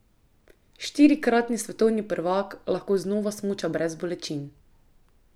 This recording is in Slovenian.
Štirikratni svetovni prvak lahko znova smuča brez bolečin.